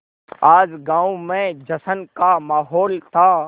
आज गाँव में जश्न का माहौल था